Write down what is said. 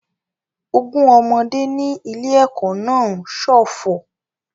Ogún ọmọdé ní ilé-ẹ̀kọ́ náà ń ṣọ̀fọ̀